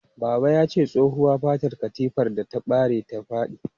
Baba yace tsohuwa fatar katafilar ta bare ta fadi.